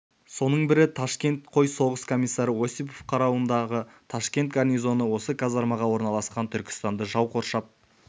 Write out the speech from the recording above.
соның бірі ташкент қой соғыс комиссары осипов қарауындағы ташкент гарнизоны осы казармаға орналасқан түркістанды жау қоршап